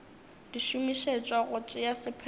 di šomišetšwa go tšea sephetho